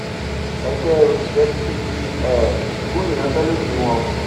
ẹgbẹ́ òṣìṣẹ́ ti figi um gún ìyanṣẹ́lódì wọn